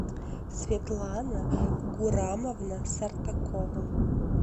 светлана гурамовна сартакова